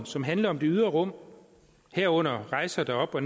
som handler om det ydre rum herunder rejser derop og